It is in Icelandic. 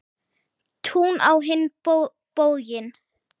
Tún á hinn bóginn.